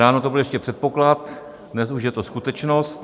Ráno to byl ještě předpoklad, dnes už je to skutečnost.